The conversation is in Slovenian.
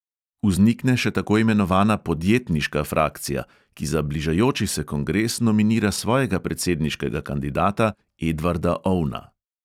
Vznikne še tako imenovana "podjetniška frakcija", ki za bližajoči se kongres nominira svojega predsedniškega kandidata, edvarda ovna.